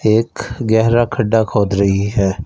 एक गहरा खड्डा खोद रही है।